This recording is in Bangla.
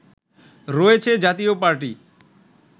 রয়েছে জাতীয় পার্টি